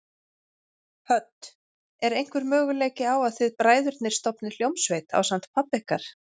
Hödd: Er einhver möguleiki á að þið bræðurnir stofnið hljómsveit ásamt pabba ykkar?